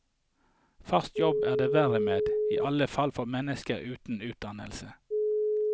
Faste jobber er det verre med, i alle fall for mennesker uten utdannelse.